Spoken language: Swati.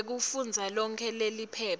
kwekufundza lonkhe leliphepha